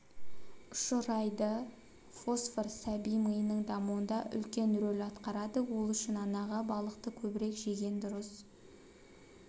ұшырайды фосфор сәби миының дамуында үлкен рөл атқарады ол үшін анаға балықты көбірек жеген дұрыс